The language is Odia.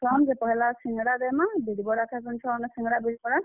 ଛୁଆ ମାନ୍ କେ ପହେଲା ସିଂଗଡା ଦେମା, ବିରି ବରା ଖେସନ୍ ଛୁଆମାନେ ସିଂଗଡା, ବିରିବରା।